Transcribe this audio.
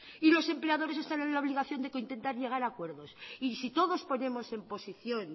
y los empleadores están en la obligación de intentar llegar a acuerdos y si todos ponemos en posición